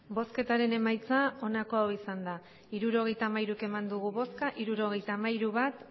bosketaren emaitza onako izan da hirurogeita hamairu eman dugu bozka hirurogeita hamairu bai bat